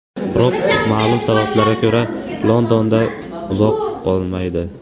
Biroq ma’lum sabablarga ko‘ra Londonda uzoq qolmaydi.